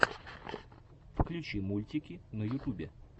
включи мультики на ютубе